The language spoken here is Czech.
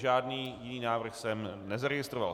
Žádný jiný návrh jsem nezaregistroval.